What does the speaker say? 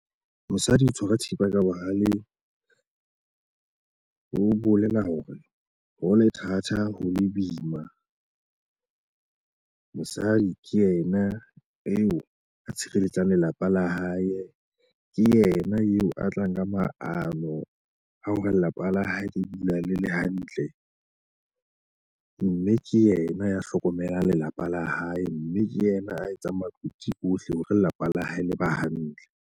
Mosadi o tshwara thipa ka bohaleng ho bolela hore ho le thata ho le boima mosadi ke yena eo a tshireletsang lelapa la hae. Ke yena eo a tlang ka maano a hore lelapa la hae le dula le le hantle. Mme ke yena ya hlokomelang lelapa la hae, mme ke yena a etsa mariki ohle hore lelapa la hae le ba hantle.